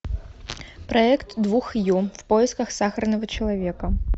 проект двух ю в поисках сахарного человека